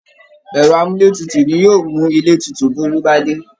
Ẹ̀rọ amúletutù ni yóò mú ilé tutù bí ooru bá dé